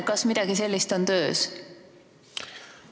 Kas midagi sellist on töös?